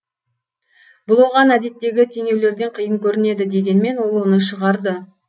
бұл оған әдеттегі теңеулерден қиын көрінеді дегенмен ол оны шығарды